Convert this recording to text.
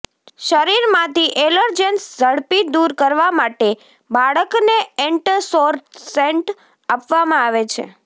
શરીરમાંથી એલર્જેન્સ ઝડપી દૂર કરવા માટે બાળકને એન્ટરસોરસેટ્સ આપવામાં આવે છે